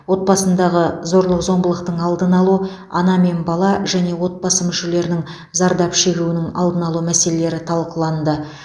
отбасындағы зорлық зомбылықтың алдын алу ана мен бала және отбасы мүшелерінің зардап шегуінің алдын алу мәселелері талқыланды